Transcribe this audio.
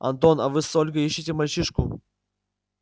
антон а вы с ольгой ищите мальчишку